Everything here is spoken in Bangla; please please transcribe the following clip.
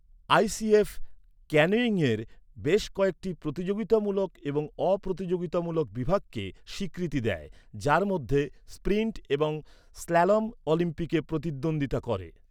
আইসিএফ ক্যানোয়িংয়ের বেশ কয়েকটি প্রতিযোগিতামূলক এবং অপ্রতিযোগিতামূলক বিভাগকে স্বীকৃতি দেয়, যার মধ্যে স্প্রিন্ট এবং স্ল্যালম অলিম্পিকে প্রতিদ্বন্দ্বিতা করে।